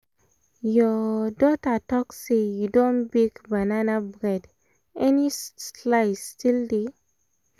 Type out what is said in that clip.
your your daughter talk say you don bake banana bread — any slice still dey?